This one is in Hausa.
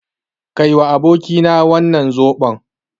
Kaiwa abokina wannan zoɓon.